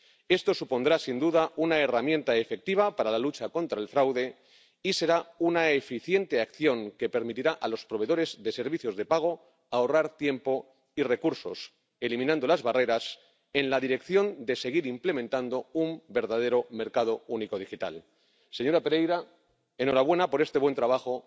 Esto supondrá, sin duda, una herramienta efectiva para la lucha contra el fraude y será una eficiente acción que permitirá a los proveedores de servicios de pago ahorrar tiempo y recursos, eliminando las barreras para seguir implementando un verdadero mercado único digital. Señora Pereira, enhorabuena por este buen trabajo.